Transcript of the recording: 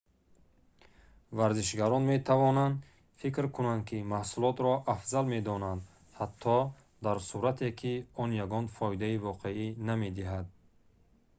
варзишгарон метавонанд фикр кунанд ки маҳсулотро афзал медонанд ҳатто дар сурате ки он ягон фоидаи воқеӣ намедиҳад